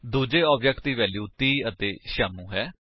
ਦੂੱਜੇ ਆਬਜੇਕਟ ਦੀ ਵੈਲਿਊਜ 30 ਅਤੇ ਸ਼ਿਆਮੂ ਹਨ